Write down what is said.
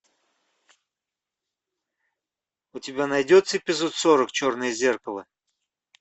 у тебя найдется эпизод сорок черное зеркало